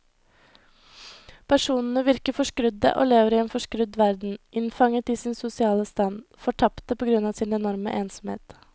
Personene virker forskrudde og lever i en forskrudd verden, innfanget i sin sosiale stand, fortapte på grunn av sin enorme ensomhet.